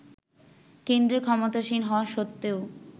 কেন্দ্রে ক্ষমতাসীন হওয়া স্বত্ত্বেও